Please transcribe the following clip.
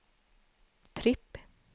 tripp